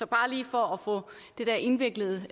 bare lige for at få dette indviklede